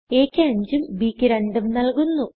a ക്ക് 5 ഉംbക്ക് 2 ഉം നല്കുന്നു